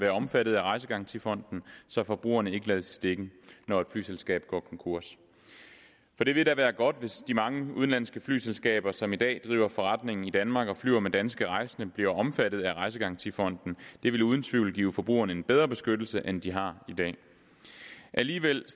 være omfattet af rejsegarantifonden så forbrugerne ikke lades i stikken når et flyselskab går konkurs for det vil da være godt hvis de mange udenlandske flyselskaber som i dag driver forretning i danmark og flyver med danske rejsende bliver omfattet af rejsegarantifonden det vil uden tvivl give forbrugerne en bedre beskyttelse end de har i dag alligevel